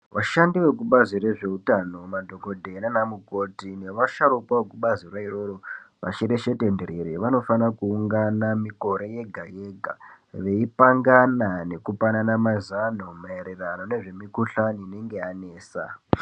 Vashandi vekubazi rwezveutano nemadhokoteya nana mukoti nevasharukwa vekubaziro iroro vashereshetenderere vanofana kuungana mikore yega yega vaipangana nekupanana mazano maererano ngezvemikhuhlani inenge yanesa .